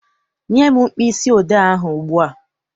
Nye m mkpịsị odee ahụ ugbu a!